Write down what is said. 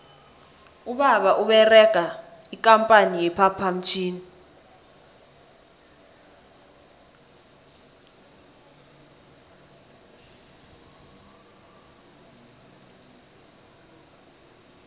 ubaba uberega ikampani ye phaphamtjhini